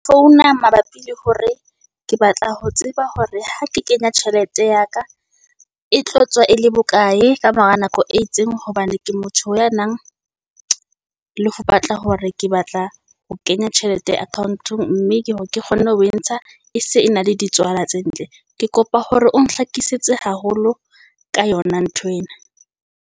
Founa mabapi le hore ke batla ho tseba hore ha ke kenya tjhelete ya ka e tlo tswa e le bokae kamora nako e itseng. Hobane ke motho ya nang le ho batla hore ke batla ho kenya tjhelete account-ong. Mme ke hore ke kgone ho e ntsha e se e na le di tswala tse ntle. Ke kopa hore o nhlakisetse haholo ka yona nthwena.